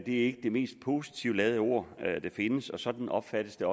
ikke det mest positivt ladede ord der findes og sådan opfattes det